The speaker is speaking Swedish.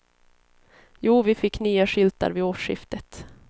Jo, vi fick nya skyltar vid årsskiftet.